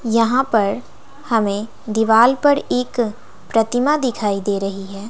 यहां पर हमें दीवाल पर एक प्रतिमा दिखाई दे रही है।